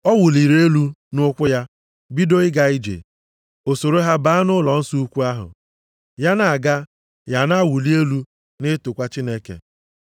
Ọ wụliri elu nʼụkwụ ya, bido ịga ije. O soro ha baa nʼụlọnsọ ukwu ahụ, ya na-aga, ya ana-awụlị elu, na-etokwa Chineke.